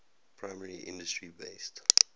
primary industry based